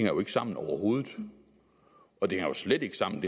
jo ikke sammen overhovedet og det hænger slet ikke sammen